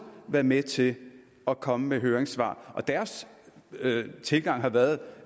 været med til at komme med høringssvar og dens tilgang har været